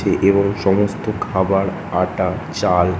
এবং সমস্ত খাবার আটা চাল--